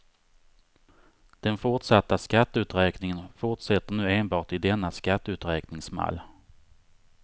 Den fortsatta skatteuträkningen fortsätter nu enbart i denna skatteuträkningsmall.